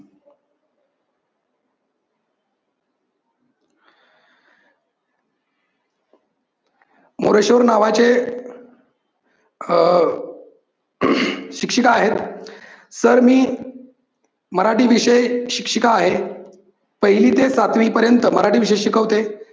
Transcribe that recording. मोरेश्वर नावाचे अह शिक्षिका आहेत, सर मी मराठी विषयक शिक्षिका आहे. पहिली ते सातवी पर्यंत मराठी विषय शिकवते.